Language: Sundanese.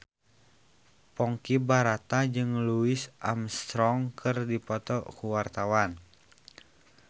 Ponky Brata jeung Louis Armstrong keur dipoto ku wartawan